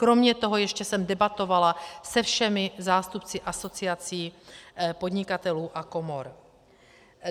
Kromě toho jsem ještě debatovala se všemi zástupci asociací podnikatelů a komor.